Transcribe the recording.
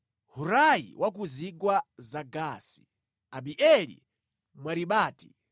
Hurai wa ku zigwa za Gaasi, Abieli Mwaribati,